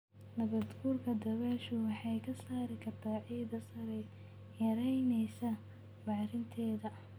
Nabaadguurka dabayshu waxay ka saari kartaa ciidda sare, yaraynaysaa bacrinteeda.